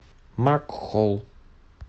макхолл